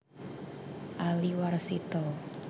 Ali Warsito